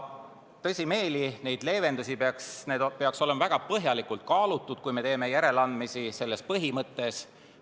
Tõsimeeli, need leevendused peaksid olema väga põhjalikult kaalutud, kui me teeme järeleandmisi selles põhimõttes.